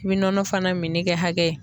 I bi nɔnɔ fana minni kɛ hakɛ ye.